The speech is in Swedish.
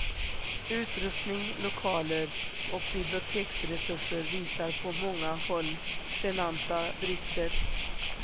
Utrustning, lokaler och biblioteksresurser visar på många håll genanta brister.